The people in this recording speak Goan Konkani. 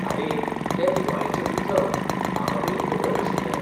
आरे, तें दिवाळेचें मिथक. म्हाका पयलीं खबर नाशिल्लें.